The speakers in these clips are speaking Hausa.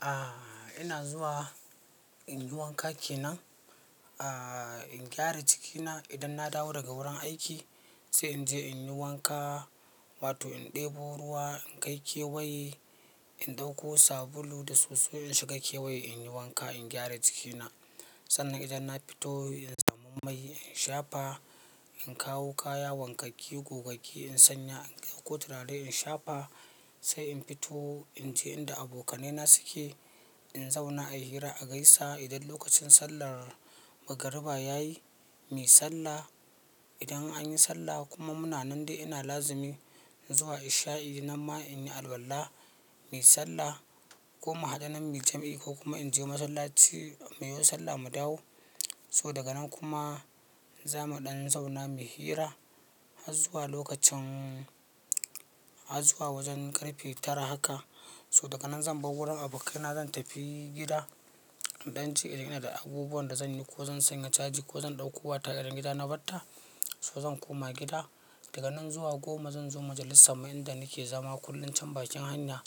Aaa ina zuwa in yi wanka kenan, aaa in gyara jikina. Idan na dawo daga wurin aiki sai in je in yi wanka, wato in ɗebo ruwa, in kai kewaye, in ɗauko sabulu da soso in shiga kewaye in yi wanka, in gyara jikina. Sannan idan na fito in samu mai in shafa, in kawo kaya wankakke, gogagge in sanya, in ɗauko turare in shafa. Sai in fito in je inda abokanaina suke, in zauna a yi hira, a gaisa. Idan lokacin sallar magariba ya yi, mu yi sallah. Idan an yi sallah kuma muna nan dai ina lazimi izuwa isha'i nan ma in yi alollla, mu yi sallah. Ko mu haɗa nan mu yi jam'i ko kuma in je masallaci mu yo sallah mu dawo. To daga nan kuma za mu ɗan zauna mu yi hira har zuwa lokacin har zuwa wajen ƙarfe tara haka. To daga nan zan bar wurin abokanai zan tafi gida iɗan ci kila ina da abubuwan da zan yi ko zan sanya caji ko zan ɗauko wayata idan gida na barta so zan koma gida. Daga nan zuwa goma zan zo majalisar mu inda nake zama kullum can bakin hanya.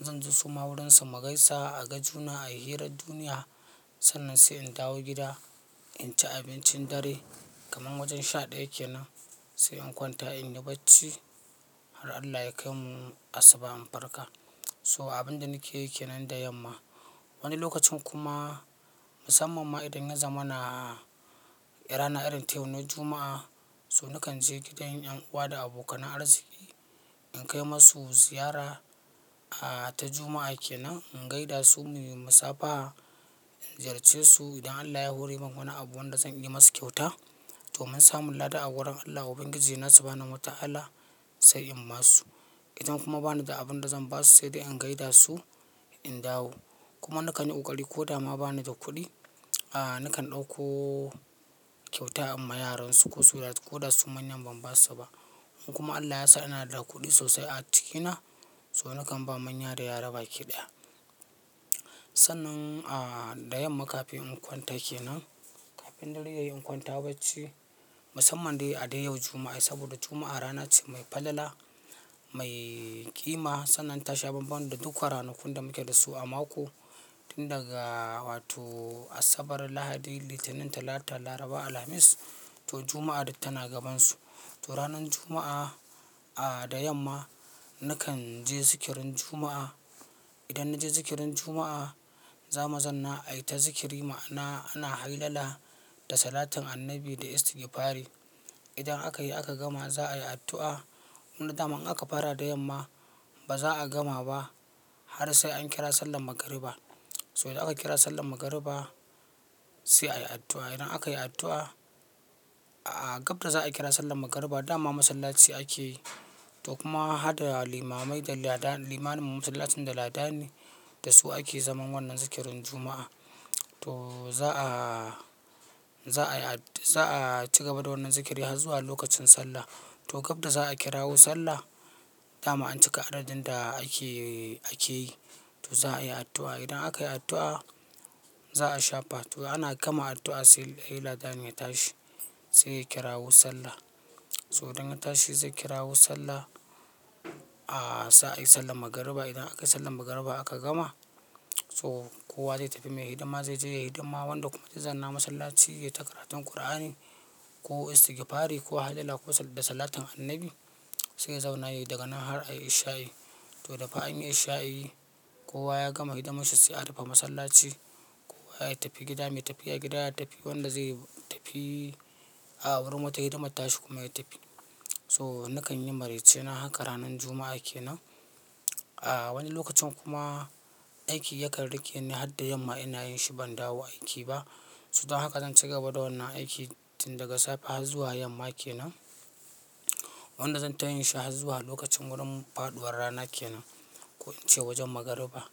Zan ji su ma wurinsu mu gaisa a gajuna, a yi hirar duniya. Sannan sai in dawo gida in ci abincin dare kaman wajen sha ɗaya kenan sai in kwanta in yi bacci har Allah ya kai mu asuba in farka. To abin da nike yi kenan da yamma. Wani lokacin kuma musamman ma idan ya zama na rana irin ta yau na Juma'a so nakan je gidan 'yan uwa da abokanan arziki in kai masu ziyara ta Juma'a kenan, in gaida su mu yi musafaha, in ziyarce su idan Allah ya hore min wani abu wanda zan iya masu kyauta domin samun lada a wurin Allah, ubangiji na, subhanahu wata'ala sai in ma su. Idan kuma bani da abin da zan ba su sai dai in gaida su in dawo. Kuma nakan yi ƙoƙari ko da ma bani da kuɗi a nakan ɗauko kyauta in ma yaransu ko so da su manyan ban ba su ba. In kuma Allah ya sa ina da kuɗi sosai a jikina so nakan ba manya da yara baki ɗaya. Sannan a da yamma kafin in kwanta kenan, kafin dare yayi in kwanta bacci musamman dai a dai yau Juma'a saboda Juma'a rana ce mai falala, mai ƙima sannan ta sha banban da duka ranakun da muke dasu a mako. Tun daga wato Asabar, Lahadi, Litinin, Talata, Laraba, Alhamis to Juma'a duk tana gabansu. To ranan Juma'a a da yamma nakan je zikirin Juma'a. Idan na je zikirin Juma'a, za mu zanna a yi ta zikiri ma'ana ana hailala da salatin Annabi da istigifari. Idan aka yi aka gama za a yi addu'a. Wanda daman in aka fara da yamma ba za a gama ba har sai an kira sallan magariba. To idan aka kira sallan magariba sai a yi addu'a. Idan aka yi addu'a a gab da za a kira sallan magariba dama masallaci ake yi to kuma harɗa limamai da lada limanin masallacin da lada ni da su ake zaman wannan zikirin Juma'a. To za a, za a yi ad za a ci gaba da wannan zikiri har zuwa lokacin sallah. To gab da za a kirawo sallah dama an cika adadin da ake, ake yi to za a yi addu'a. Idan aka yi addu'a za a shafa. To ana gama addu'a sai he ladani ya tashi sai ya kirawo sallah. To idan a tashi zai kirawo sallah a sa a yi sallan magariba. Idan aka yi sallan magariba aka gama so kowa zai tafi mai hidima zai je yayi hidima wanda kuma zai zanna masallaci ya yi ta karatun ƙur'ani ko istigfari ko haila ko da salatin Annabi sai ya zauna yayi daga nan har a yi isha'i. To da fa an yi isha'i kowa ya gama hidimarshi sai a rufe masallaci. Kowa ya tafi gida mai tafi ya gida ya tafi wanda zai tafi a wurin wata hidimar tashi kuma ya tafi. To nakan yi maraicena haka ranan Juma'a kenan. A wani lokacin kuma aiki yakan rike ni har da yamma ina yin shi ban dawo aiki ba. To dan haka zan ci gaba da wannan aiki tun daga safe har zuwa yamma kenan. Wanda zan ta yin shi har zuwa lokacin wurin faɗuwar rana kenan ko ince wajen magariba.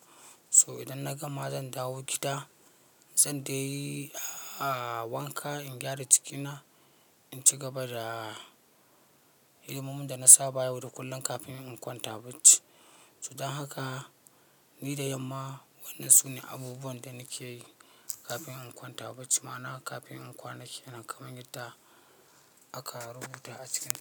To idan na gama zan dawo gida, zan dai a wanka, in gyara jikina, in ci gaba da hidimomin da na saba yau da kullum kafin in kwanta bacci. So dan haka ni da yamma wannan su ne abubuwan da nake yi kafin in kwanta bacci ma'ana kafin in kwana kenan kamar yadda aka rubuta a cikin tambayar.